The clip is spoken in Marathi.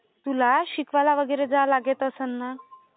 तुला शिकवायला वगैरे जावे लागत असेल ना?